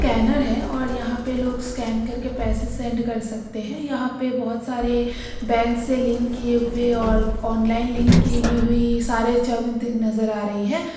कैनर है और यहां पे लोग स्कैन करके पैसे सेंड कर सकते हैं। यहाँ पे बहोत सारे बैंक से लिंक किए हुए और ऑनलाइन लिंक की गी हुई सारे नजर आ रही है।